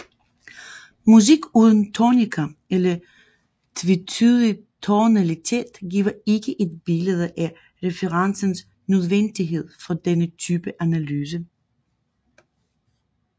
Musik uden tonika eller tvetydig tonalitet giver ikke et billede af referencens nødvendighed for denne type analyse